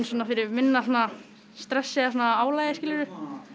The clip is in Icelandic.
fyrir minna stressi eða svona álagi skilurðu